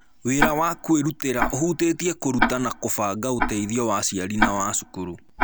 Wĩra wa kwĩrutĩra ũhutĩtie kũruta na kũbanga ũteithio wa aciari na wa cukuru.